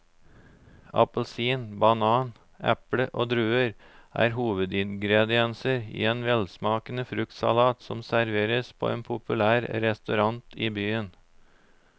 Appelsin, banan, eple og druer er hovedingredienser i en velsmakende fruktsalat som serveres på en populær restaurant i byen.